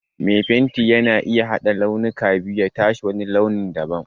Mai fenti yana iya haɗa launuka biyu ya tashi wani launin da ban.